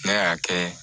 N'a y'a kɛ